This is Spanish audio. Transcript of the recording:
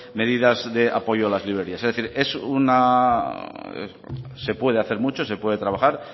medidas de apoyo a la librerías es decir se puede hacer mucho se puede trabajar